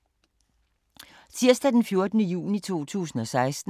Tirsdag d. 14. juni 2016